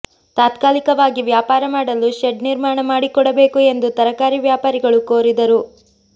ತಾತ್ಕಾಲಿಕವಾಗಿ ವ್ಯಾಪಾರ ಮಾಡಲು ಶೆಡ್ ನಿರ್ಮಾಣ ಮಾಡಿಕೊಡಬೇಕು ಎಂದು ತರಕಾರಿ ವ್ಯಾಪಾರಿಗಳು ಕೋರಿದರು